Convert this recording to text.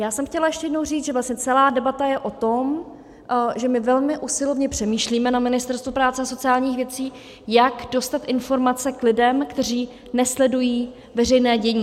Já jsem chtěla ještě jednou říct, že vlastně celá debata je o tom, že my velmi usilovně přemýšlíme na Ministerstvu práce a sociálních věcí, jak dostat informace k lidem, kteří nesledují veřejné dění.